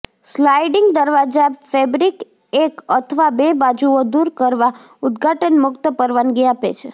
sliding દરવાજા fabric એક અથવા બે બાજુઓ દૂર કરવા ઉદઘાટન મુક્ત પરવાનગી આપે છે